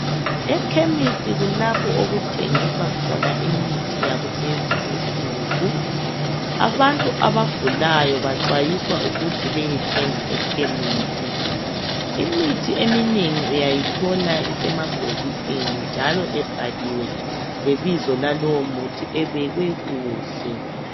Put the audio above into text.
Ekhemisi kulapho okuthengiswa khona imithi yakulezi insuku abantu abagulayo baxwayiswa ukuthi bayethenga ekhemisi. Imithi eminengi uyayithola isemabhokisini njalo ebhaliwe lebizo lalowomuthi ebekwe kuhle.